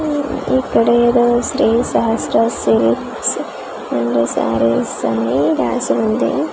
ఇక్కడ ఏదో Shri Sahasra silks and saris అని రాసి ఉంది .